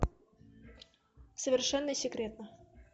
совершенно секретно